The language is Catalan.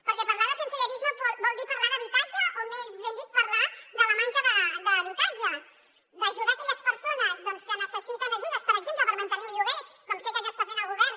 perquè parlar de sensellarisme vol dir parlar d’habitatge o més ben dit parlar de la manca d’habitatge d’ajudar aquelles persones que necessiten ajudes per exemple per mantenir un lloguer com sé que ja està fent el govern